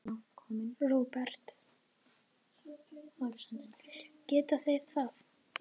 Róbert: Geta þeir það?